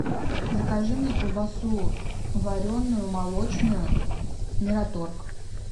закажи мне колбасу вареную молочную мираторг